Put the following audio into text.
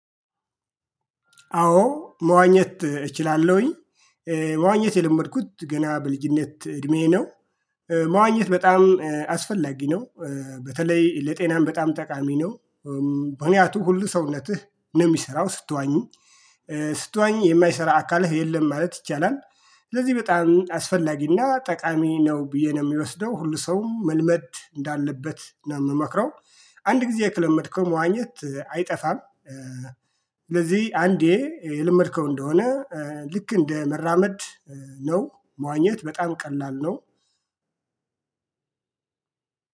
አዎ መዋኘት እችላለሁኝ። መዋኘት የለመድኩት ገና በልጅነት እድሜዬ ነው። መዋኘት በጣም አስፈላጊ ነው። በተለይ ለጤናም በጣም ጠቃሚ ነው። ምክንያቱ ሁሉ ሰውነትህ ነው የሚሰራው ስትዋኝ። ስትዋኝ የማይሰራ አካልህ የለም ማለት ይቻላል ስለዚህ በጣም አስፈላጊና ጠቃሚ ነው ብዬ ነው የሚወስደው ሁሉ ሰውም መልመድ እንዳለበት ነው የምመክረው። አንድ ጊዜ ከለመድከው መዋኘት አይጠፋም። ስለዚህ አንዴ የለመድከው እንደሆነ ልክ እንደ መራመድ ነው መዋኘት በጣም ቀላል ነው።